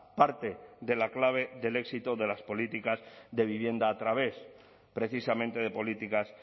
parte de la clave del éxito de las políticas de vivienda a través precisamente de políticas